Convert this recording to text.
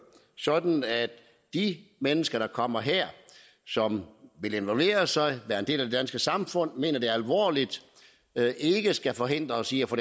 sådan at de mennesker der kommer her som vil involvere sig være en del af det danske samfund mener det alvorligt ikke skal forhindres i at få